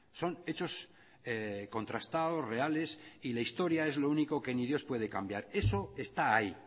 son hechos contrastados reales y la historia es lo único que ni dios puede cambiar eso está ahí